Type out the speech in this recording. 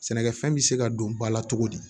Sɛnɛkɛfɛn bɛ se ka don ba la cogo di